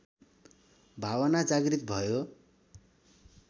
भावना जागृत भयो